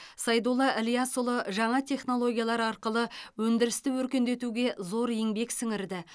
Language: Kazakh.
сайдулла ілиясұлы жаңа технологиялар арқылы өндірісті өркендетуге зор еңбек сіңірді